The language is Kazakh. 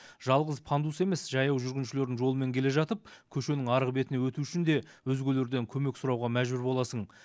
жалғыз пандус емес жаяу жүргіншілердің жолымен келе жатып көшенің арғы бетіне өту үшін де өзгелерден көмек сұрауға мәжбүр боласың